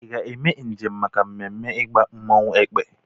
Ị ga-eme njem maka mmemme ịgba mmọnwụ Èkpè?